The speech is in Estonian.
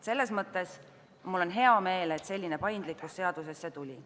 Selles mõttes mul on hea meel, et selline paindlikkus seadusesse tuli.